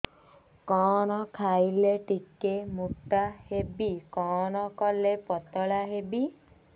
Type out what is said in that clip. କଣ ଖାଇଲେ ଟିକେ ମୁଟା ହେବି କଣ କଲେ ପତଳା ହେବି